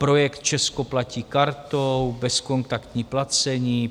Projekt Česko platí kartou, bezkontaktní placení.